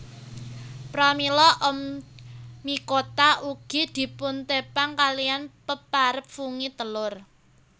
Pramila Oomycota ugi dipuntepang kaliyan peparab fungi telur